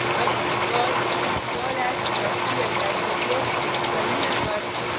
अब perl perlhash dot pl type करके terminal पर